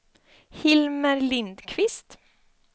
Hilmer Lindquist